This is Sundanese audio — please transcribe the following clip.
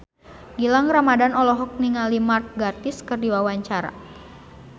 Gilang Ramadan olohok ningali Mark Gatiss keur diwawancara